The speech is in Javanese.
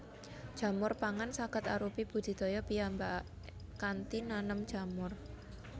Jamur pangan saged arupi budidaya piyambak kanthi nanem jamur